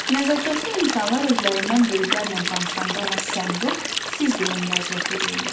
Nəzakətli insanlar özlərindən böyüklərlə danışanda ona sən yox, siz deyə müraciət edirlər.